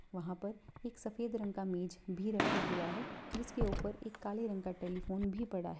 वहाँ पर एक सफ़ेद रंग का मेज़ भी रखा हुआ है जिसके ऊपर एक काले रंग का टेलीफोन भी पड़ा है।